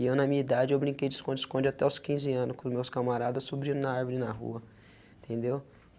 E eu na minha idade eu brinquei de esconde, esconde até aos quinze anos com os meus camaradas subindo na árvore, na rua, entendeu?